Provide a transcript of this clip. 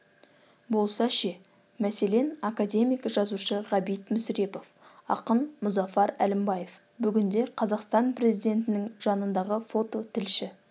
болса ше мәселен академик жазушы ғабит мүсірепов ақын мұзафар әлімбаев бүгінде қазақстан президентінің жанындағы фототілші